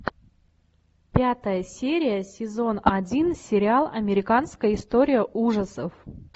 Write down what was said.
пятая серия сезон один сериал американская история ужасов